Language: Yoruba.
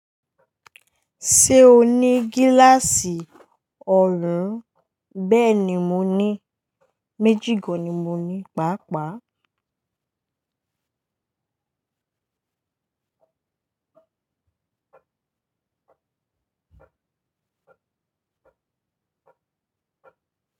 Ṣé o ní gíláàsì ọrùn? Bẹ́ẹ̀ni mo ní, méjì gán ni mo ní, pàápàá.